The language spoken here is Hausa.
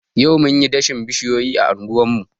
Yau munyi dashen bishiyoyi a anguwar mu.